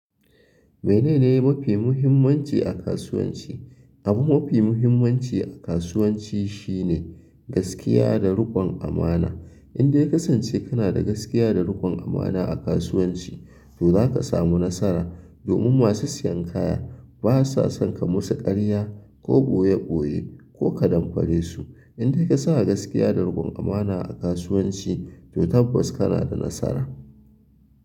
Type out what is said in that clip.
Menene mafi muhimmanci a kasuwanci. Abu mafi muhimmanci a kasuwanci shine gaskiya da riƙon amana. Indai ya ka sance kana da gaskiya da riƙon amana a kasuwanci, to za ka samu nasara. Domin masu sayan kaya basa son ka musu ƙarya ko ɓoye ɓoye ko ka damfare su. Indai ka sa gaskiya da rikon amana a kasuwanci, to tabbas kana da nasara.